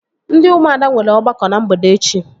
Ndị ụmụada nwere ọgbakọ na mgbede echi